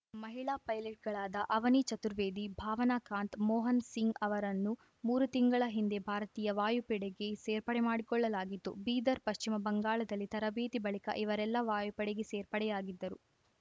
ಮಹಿಳಾ ಪೈಲಟ್‌ಗಳಾದ ಅವನಿ ಚತುರ್ವೇದಿ ಭಾವನಾ ಕಾಂತ್‌ ಮೋಹನ್ ಸಿಂಗ್‌ ಅವರನ್ನು ಮೂರು ತಿಂಗಳ ಹಿಂದೆ ಭಾರತೀಯ ವಾಯುಪಡೆಗೆ ಸೇರ್ಪಡೆ ಮಾಡಿಕೊಳ್ಳಲಾಗಿತ್ತು ಬೀದರ್‌ ಪಶ್ಚಿಮಬಂಗಾದಲ್ಲಿ ತರಬೇತಿ ಬಳಿಕ ಇವರೆಲ್ಲಾ ವಾಯುಪಡೆಗೆ ಸೇರ್ಪಡೆಯಾಗಿದ್ದರು